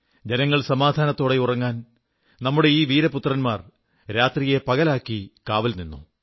ജനങ്ങൾ സമാധാനത്തോടെ ഉറങ്ങാൻ നമ്മുടെ ഈ വീരപുത്രന്മാർ രാത്രിയെ പകലാക്കി കാവൽ നിന്നു